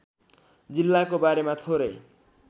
जिल्लाको बारेमा थोरै